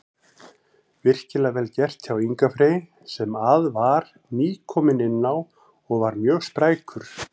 Virkilega vel gert hjá Inga Frey sem að var nýkominn inná og var mjög sprækur.